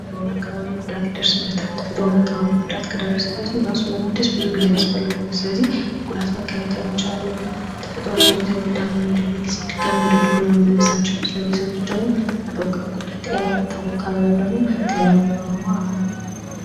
ተፈጥሮ እና አካባቢ ጉዳት ይደርስበታል። ተፈጥሮ እና አካባቢ ጉዳት ከደረሰበትም ራሱን ለማደስ ብዙ ጊዜ ያስፈልገዋል። ስለዚህ ከጉዳት መከላከል መቻል አለብን። ተፈጥሯችን እየተጎዳ በሚሄድበት ጊዜ ወደድሮው ለመመለስ አንችልም። ስለዚህ የሰው ልጅ ደግሞ ተፈጥሮ ከተጎዳ ጤናው ይታወካል ወይም ደግሞ ጤናማ የሆነ ኑሮ አይኖረውም።